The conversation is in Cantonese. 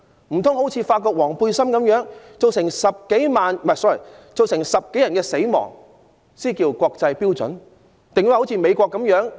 難道好像法國黃背心運動般造成10多人死亡，才算得上符合國際標準嗎？